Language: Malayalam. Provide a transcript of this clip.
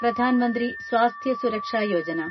പ്രധാൻ മന്ത്രി സ്വാസ്ഥ്യ സുരക്ഷ യോജന